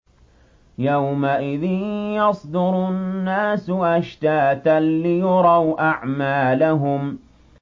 يَوْمَئِذٍ يَصْدُرُ النَّاسُ أَشْتَاتًا لِّيُرَوْا أَعْمَالَهُمْ